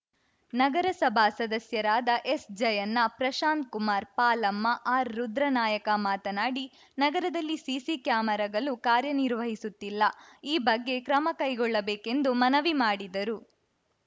ನಗರಸಭಾ ಸದಸ್ಯರಾದ ಎಸ್‌ಜಯಣ್ಣ ಪ್ರಶಾಂತ್‌ಕುಮಾರ್‌ ಪಾಲಮ್ಮ ಆರ್‌ರುದ್ರನಾಯಕ ಮಾತನಾಡಿ ನಗರದಲ್ಲಿ ಸಿಸಿ ಕ್ಯಾಮೆರಾಗಳು ಕಾರ್ಯನಿರ್ವಹಿಸುತ್ತಿಲ್ಲ ಈ ಬಗ್ಗೆ ಕ್ರಮಕೈಗೊಳ್ಳಬೇಕೆಂದು ಮನವಿ ಮಾಡಿದರು